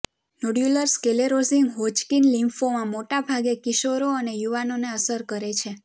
nodular sclerosing Hodgkin lymphoma મોટા ભાગે કિશોરો અને યુવાનોને અસર કરે છે